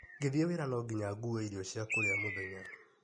Ngĩthiĩ wĩra nonginya ngue irio cia kũrĩa mũthenya.